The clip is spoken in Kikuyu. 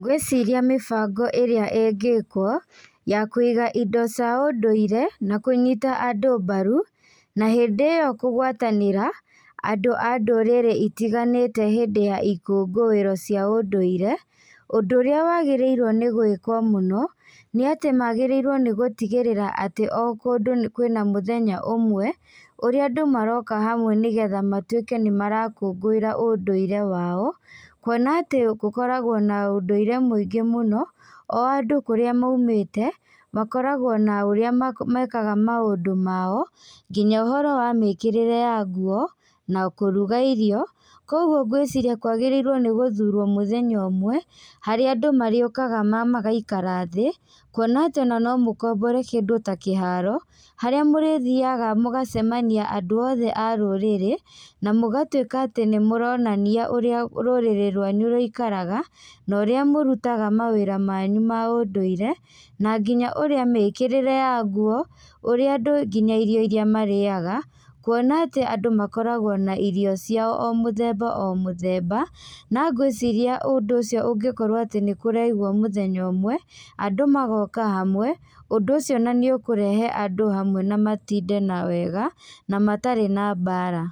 Ngwĩciria mĩbango ĩrĩa ĩngĩkwo, ya kũiga indo cia ũndũire na kũnyita andũ mbaru, na hĩndĩ ĩyo kũgwatanĩra, andũ a ndũrĩrĩ itiganĩte hĩndĩ ya ikũngũiro cia ũndũire, ũndũ ũrĩa wagĩrĩirwo nĩ gwĩkwo mũno, nĩatĩ magĩrĩirwo nĩgũtigĩrĩra atĩ o kũndũ kwĩna mũthenya ũmwe, ũrĩa andũ maroka hamwe nĩgetha matuĩke nĩmarakũngũira ũndũire wao, kuona atĩ gũkoragwo na ũndũire mũingĩ mũno, o andũ kũrĩa maumĩte, makoragwo na ũrĩa ma mekaga maũndũ mao, nginya ũhoro wa mĩkĩrĩre ya nguo, na kũruga irio, koguo ngwĩciria kwagĩrĩirwo nĩgũthurwo mũthenya ũmwe, harĩa andũ marĩũkaga magaikara thĩ, kuona atĩ ona no mũkombore kĩndũ ta kĩharo, harĩa mũrĩthiaga mũgacemania andũ othe a rũrĩrĩ, na mũgatuĩka atĩ nĩmũronania ũrĩa rũrĩrĩ rwanyu rũikaraga, na ũrĩa mũrutaga mawĩra manyu ma ũndũire, na nginya ũrĩa mĩkĩrĩre ya nguo. ũrĩa andũ nginya irio iria marĩaga, kuona atĩ andũ makoragwo na irio ciao, o mũthemba o mũthemba, na ngwĩciria ũndũ ũcio ũngĩkorwo atĩ nĩkũraigwo mũthenya ũmwe, andũ magoka hamwe, ũndũ ũcio ona nĩũkũrehe andũ hamwe na matinde na wega, na matarĩ na mbara.